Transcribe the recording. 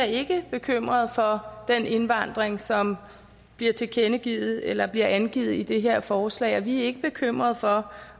ikke er bekymrede for den indvandring som bliver tilkendegivet eller angivet i det her forslag vi er ikke bekymrede for